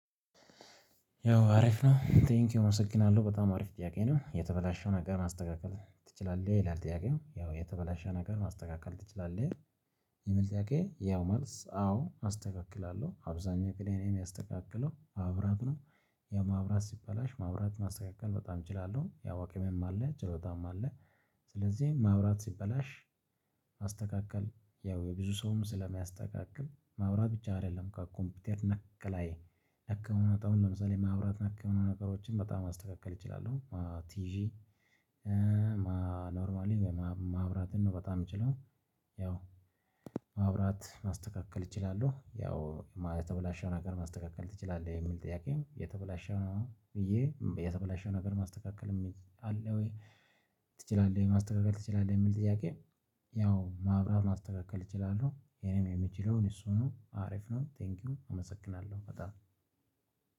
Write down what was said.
ያው አሪፍ ነው ቴንኪው አመሰግናለሁ በጣም አሪፍ ጥያቄ ነው። የተበላሸውን ነገር ማስተካከል ትችላለህ ይላል ጥያቄው ያው የተበላሸ ነገር ማስተካከል ትችላለህ? ይሄ መልስ ጥያቄ ያው መልስ አዎ አስተካክላለሁ አብዛኛው ክሊኒየም ያስተካክለው ማብራት ነው። የማብራት ሲባላሽ ማብራት ማስተካከል በጣም እችላለሁ ያው አቅምም አለ ጭሎታም አለ። ስለዚህ ማብራት ሲበላሽ ማስተካከል ያው የብዙ ሰውም ስለሚያስተካክል ማውራት ብቻ አይደለም ኮምፒውተር ነክ ላይ። አካሄድ ማውራት። ማብራት አካባቢ ነገሮችን በጣም ማስተካከል እችላለሁ ቲጂ። ኖርማሊ ወይ ወይም ማብራት ነው በጣም የምችለው። ያው ማብራት ማስተካከል እችላለሁ። ያው የተበላሸው ነገር ማስተካከል ትችላለህ? የሚል ጥያቄም የተበላሸው ነው ብዬ የተበላሸው ነገር ማስተካከል የሚል አለ ወይ ትችላለህ ማስተካከል ትችላለህ የሚል ጥያቄ? ያው ማብራት ማስተካከል እችላለሁ። ይሄንም የምችለውን እሱ ነው አሪፍ ነው። ቴንኪው አመሰግናለሁ በጣም